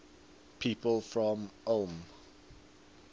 people from ulm